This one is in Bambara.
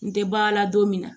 N tɛ baara la don min na